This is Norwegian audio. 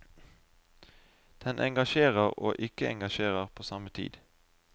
Den engasjerer og ikke engasjerer på samme tid.